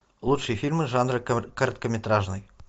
лучшие фильмы жанра короткометражный